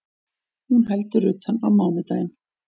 Hún heldur utan á mánudaginn